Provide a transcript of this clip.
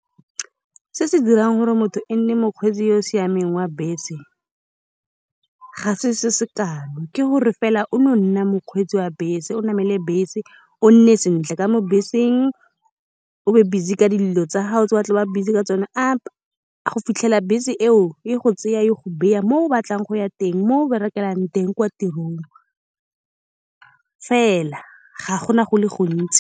Se se dirang gore motho e nne mokgweetsi yoo siameng wa bese ga se se sekalo. Ke gore fela o no nna mokgweetsi wa bese, o namele bese, o nne sentle ka mo beseng, o be busy ka dilo tsa gago tse o batlang go ba busy ka tsone, a . Go fitlhela bese eo e go tsaya, e go baya mo o batlang go ya teng, moo berekelang teng kwa tirong fela. Ga gona go le gontsi.